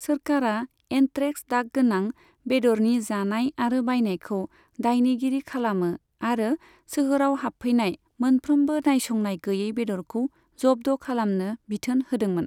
सोरखारआ anthrax दागगोनां बेदरनि जानाय आरो बायनायखौ दायनिगिरि खालामो आरो सोहोराव हाबफैनाय मोनफ्रोमबो नायसंनाय गैयै बेदरखौ जब्द' खालामनो बिथोन होदोंमोन।